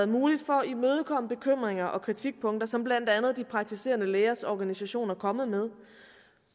muligt for at og kritikpunkter som blandt andet praktiserende lægers organisation er kommet med